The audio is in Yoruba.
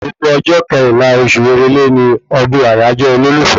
Gbogbo ọjọ́ kẹrìnlá oṣù èrèlé ni ọdún àyájọ́ olólùfẹ́